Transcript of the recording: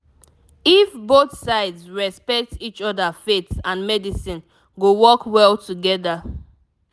if both sides respect each other faith and medicine go work well together